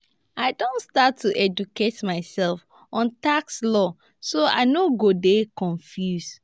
i don start to educate myself on tax laws so i no go dey confused.